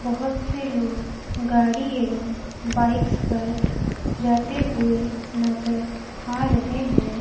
बहोत से लोग गाड़ी एवं बाइक्स पर जाते हुए नजर आ रहे हैं।